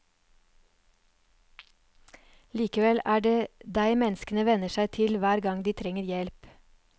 Likevel er det deg menneskene vender seg til hver gang de trenger hjelp.